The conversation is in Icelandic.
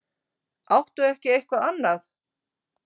Áttu ekki eitthvað annað?